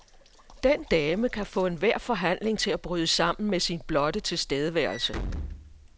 Den dame kan få enhver forhandling til at bryde sammen med sin blotte tilstedeværelse.